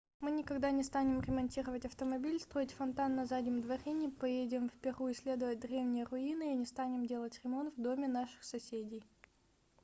мы никогда не станем ремонтировать автомобиль строить фонтан на заднем дворе не поедем в перу исследовать древние руины и не станем делать ремонт в доме наших соседей